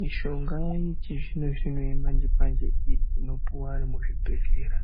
Mishonga yechi zvino zvino ye manje manje manje inopuwa anhu mu zvibhedhlera